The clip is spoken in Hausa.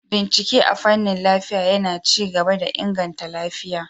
Bincike a fanin lafiya yAna ci gaba da inganta lafiya